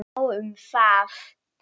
Nóg um það!